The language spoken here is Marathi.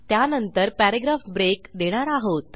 त्यानंतर पॅराग्राफ ब्रेक देणार आहोत